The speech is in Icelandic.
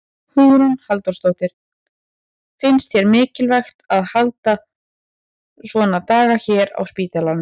Hugrún Halldórsdóttir: Finnst þér mikilvægt að halda svona daga hérna á spítalanum?